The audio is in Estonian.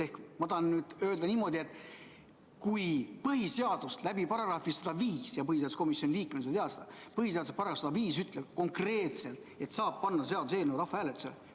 Ehk ma tahan öelda seda, et põhiseaduse § 105 – põhiseaduskomisjoni liikmena sa tead seda – ütleb konkreetselt, et seaduseelnõu saab panna rahvahääletusele.